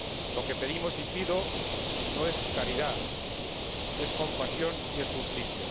Lo que pedimos y pido no es caridad, es compasión y es justicia.